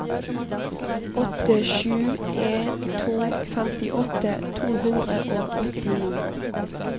åtte sju en to femtiåtte to hundre og åttini